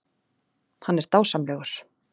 Hann er dásamlegur.